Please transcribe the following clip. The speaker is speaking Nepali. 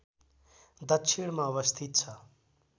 दक्षिणमा अवस्थित छ